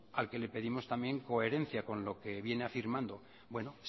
al que le pedimos también coherencia con lo que viene afirmando bueno